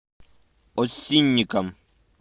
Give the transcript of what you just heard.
осинникам